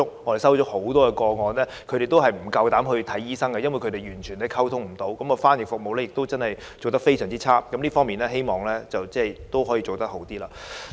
我們接獲很多個案，是受害人不敢前往求診，因為完全無法溝通，翻譯服務非常差，希望這方面可以做好一點。